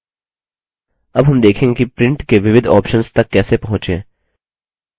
अब हम देखेंगे कि print के विविध options तक कैसे पहुँचें